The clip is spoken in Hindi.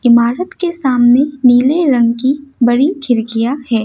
इमारत के सामने नीले रंग की बड़ी खिड़कियां है।